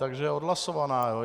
Takže je odhlasovaná.